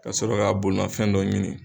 Ka sɔrɔ ka bolimafɛn dɔ ɲini.